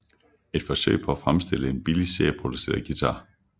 Et forsøg på at fremstille en billig serieproduceret guitar